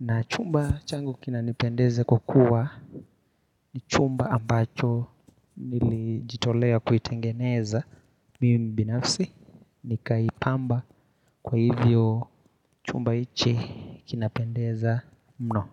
Na chumba changu kinanipendeza kwa kuwa ni chumba ambacho nilijitolea kuitengeneza mimi binafsi. Nikaipamba kwa hivyo chumba hichi kinapendeza mno.